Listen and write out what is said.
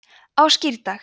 á skírdag